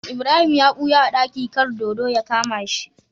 Ibrahim ya buya a daki kar dodo ya kama shi